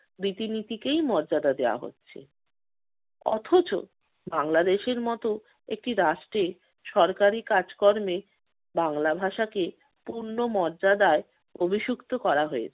রীতিনীতিকেই মর্যাদা দেয়া হচ্ছে। অথচ বাংলাদেশের মত একটি রাষ্ট্রে সরকারি কাজকর্মে বাংলা ভাষাকে পূর্ণ মর্যাদায় অভিষিক্ত করা হয়েছে।